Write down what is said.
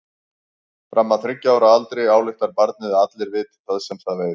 Fram að þriggja ára aldri ályktar barnið að allir viti það sem það veit.